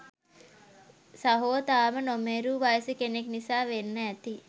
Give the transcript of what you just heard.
සහෝ තාම නොමේරූ වයසෙ කෙනෙක් නිසා වෙන්න ඇති.